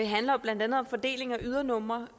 handler jo blandt andet om fordeling af ydernumre